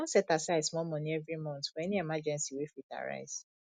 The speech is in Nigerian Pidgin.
i don set aside small money every month for any emergency wey fit arise